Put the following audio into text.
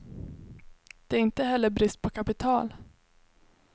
Det är inte heller brist på kapital.